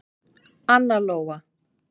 Anna Lóa.